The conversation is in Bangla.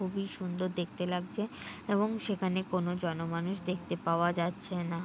খুবই সুন্দর দেখতে লাগজে এবং সেখানে কোনো জন মানুষ দেখতে পাওয়া যাচ্ছে না।